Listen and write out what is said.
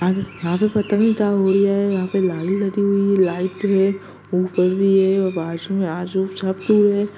यहाँ पे पता नहीं क्या हुआ यहाँ पे लाइन लगी हुई है लाइट लगी हुई है ऊपर भी है ।